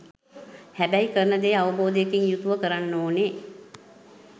හැබැයි කරන දේ අවබෝධයකින් යුතුව කරන්න ඕනේ.